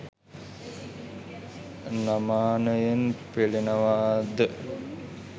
නමානයෙන් පෙලෙනවා ද?